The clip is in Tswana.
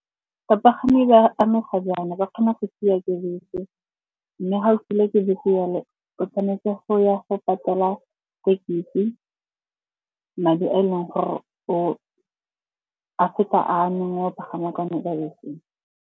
Bapagami ba amega jaana, ba kgona go siwa ke bese mme ga o silwe ke bese jalo o tshwanetse go ya go patela thekisi, madi a e leng gore a feta a neng wa pagama ka o ne kwa beseng.